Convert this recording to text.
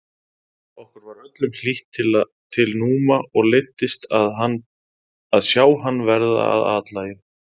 Okkur var öllum hlýtt til Núma og leiddist að sjá hann verða að athlægi.